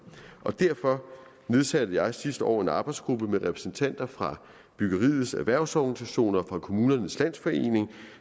derfor nedsatte jeg sidste år en arbejdsgruppe med repræsentanter fra byggeriets erhvervsorganisationer og kommunernes landsforening